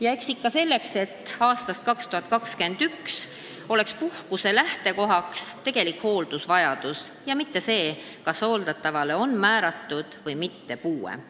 Ja seda ikka selleks, et aastast 2021 lähtuks see puhkus tegelikust hooldusvajadusest, mitte sellest, kas hooldatavale on määratud puue.